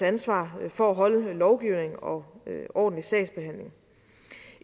ansvar for at holde lovgivningen og ordentlig sagsbehandling